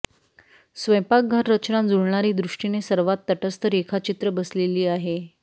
स्वयंपाकघर रचना जुळणारे दृष्टीने सर्वात तटस्थ रेखाचित्र बसलेली आहे